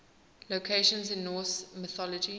locations in norse mythology